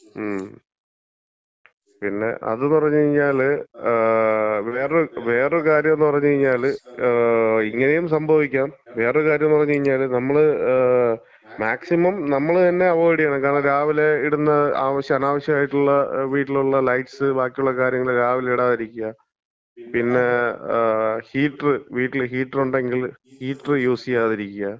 മ്, പിന്നെ, അത് പറഞ്ഞ് കഴിഞ്ഞാല്, വേറൊരു, വേറൊരു കാര്യംന്ന് പറഞ്ഞ്കഴിഞ്ഞാല് ഇങ്ങനെയും സംഭവിക്കാം. വേറൊരു കാര്യംന്ന് പറഞ്ഞ് കഴിഞ്ഞാല് നമ്മള് മാക്സിമം നമ്മള് തന്നെ അവോയിഡ് ചെയ്യണം. കാരണം രാവിലെ ഇടുന്ന ആവശ്യ, അനാവശ്യായിട്ടുള്ള വീട്ടിലുള്ള ലൈറ്റ്സ്, ബാക്കിയുള്ള കാര്യങ്ങള് രാവിലെ ഇടാതിരിക്ക്യാ. പിന്നെ ഹീറ്ററ് വീട്ടില് ഹീറ്ററ് ഉണ്ടെങ്കില് ഹീറ്ററ് യൂസ് ചെയ്യാതിരിക്കാ.